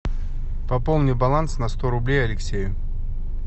пополни баланс на сто рублей алексею